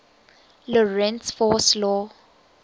lorentz force law